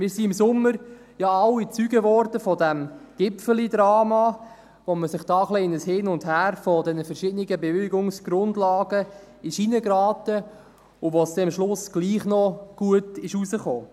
Wir wurden im Sommer ja alle Zeugen von diesem Gipfelidrama, als man in ein Hin und Her der verschiedenen Bewilligungsgrundlagen hineingeraten war und es dann am Schluss gleichwohl noch gut ausging.